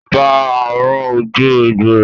Bá a rán ojú egbò rẹ̀!